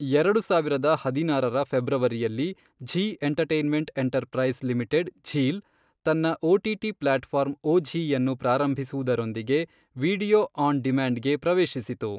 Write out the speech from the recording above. ಎರಡು ಸಾವಿರದ ಹದಿನಾರರ ಫೆಬ್ರವರಿಯಲ್ಲಿ, Zee entertainment enterprise limited ZEEL, ತನ್ನ ಒಟಿಟಿ ಪ್ಲಾಟ್ ಫಾರ್ಮ್ ಒಝೀ ಅನ್ನು ಪ್ರಾರಂಭಿಸುವುದರೊಂದಿಗೆ ವೀಡಿಯೊ ಆನ್ ಡಿಮ್ಯಾಂಡ್ಗೆ ಪ್ರವೇಶಿಸಿತು.